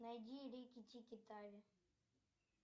найди рики тики тави